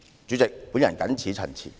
主席，我謹此陳辭。